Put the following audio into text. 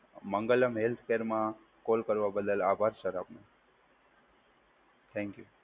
Mangalam health કેરમાં કોલ કરવા બદલ આભાર સર આપનું. થેન્કયુ.